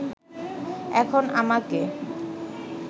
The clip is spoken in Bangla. এখন আমাকে